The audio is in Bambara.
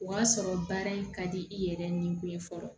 O y'a sɔrɔ baara in ka di i yɛrɛ ni o ye fɔlɔ